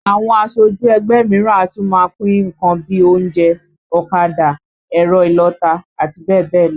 Àwọn aṣojú ẹgbẹ́ mìíràn a tún máa pín nǹkan bíi oúnjẹ, ọ̀kadà, ẹ̀rọ ìlọta, àti bẹ́ẹ̀ bẹ́ẹ̀ lọ